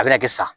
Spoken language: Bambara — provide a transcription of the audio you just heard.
A bɛna kɛ sa